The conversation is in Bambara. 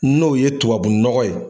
N'o ye tubabu nɔgɔ ye.